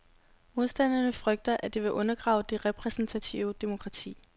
Modstanderne frygter, at det vil undergrave det repræsentative demokrati.